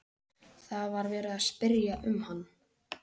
Það var verið að spyrja um hann.